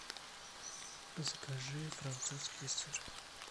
закажи французский сыр